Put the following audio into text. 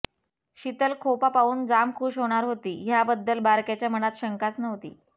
शीतल खोपा पाहून जाम खुश होणार होती ह्याबद्दल बारक्याच्या मनात शंकाच नव्हती